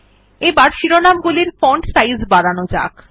এবার শিরোনাম গুলির ফন্ট সাইজ বাড়ানো যাক